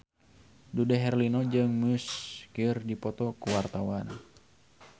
Dude Herlino jeung Muse keur dipoto ku wartawan